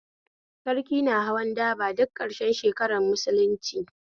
Sarki na hawan daba duk karshen shekarar musulunci